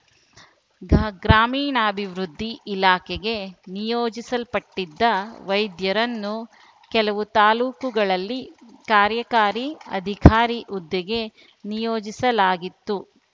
ಗ ಗ್ರಾಮೀಣಾಭಿವೃದ್ಧಿ ಇಲಾಖೆಗೆ ನಿಯೋಜಿಸಲ್ಪಟ್ಟಿದ್ದ ವೈದ್ಯರನ್ನು ಕೆಲವು ತಾಲೂಕುಗಳಲ್ಲಿ ಕಾರ್ಯಕಾರಿ ಅಧಿಕಾರಿ ಹುದ್ದೆಗೆ ನಿಯೋಜಿಸಲಾಗಿತ್ತು